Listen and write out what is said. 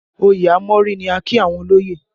Òye a mọ́rí ni a kí àwọn olóyè